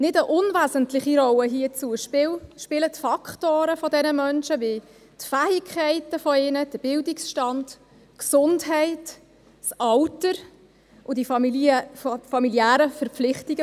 Eine nicht unwesentliche Rolle hierzu spielen die Faktoren dieser Menschen, wie ihre Fähigkeiten, der Bildungsstand, die Gesundheit, das Alter und die familiären Verpflichtungen.